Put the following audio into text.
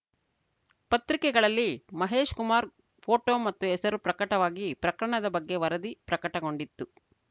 ಪತ್ರಿಕೆಗಳಲ್ಲಿ ಮಹೇಶ್‌ ಕುಮಾರ್‌ ಫೋಟೋ ಮತ್ತು ಹೆಸರು ಪ್ರಕಟವಾಗಿ ಪ್ರಕರಣದ ಬಗ್ಗೆ ವರದಿ ಪ್ರಕಟಗೊಂಡಿತ್ತು